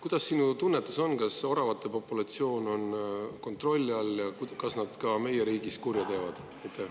Kuidas sinu tunnetus on: kas oravate populatsioon on kontrolli all ja kas nad ka meie riigis kurja teevad?